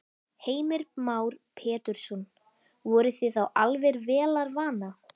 Heimir Már Pétursson: Voruð þið þá alveg vélarvana?